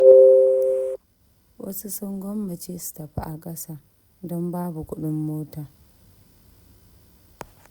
Wasu sun gwammace su tafi a ƙasa don babu kuɗin mota.